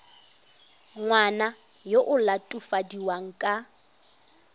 ngwana yo o latofadiwang ka